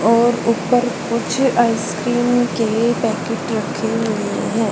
और ऊपर कुछ आइसक्रीम के पैकेट रखे हुए हैं।